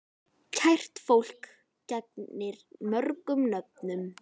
Kært fólk gegnir mörgum nöfnum.